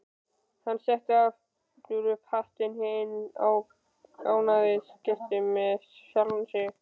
Hann setti aftur upp hattinn, hinn ánægðasti með sjálfan sig.